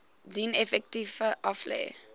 dien effekte aflê